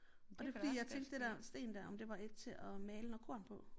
Og det fordi jeg tænkte det der sten der om det var et til at male noget korn på